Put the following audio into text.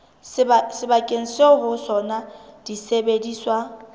sebakeng seo ho sona disebediswa